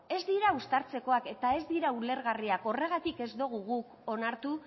ez dira uztartzekoak eta ez dira ulergarriak horregatik ez dogu guk onartu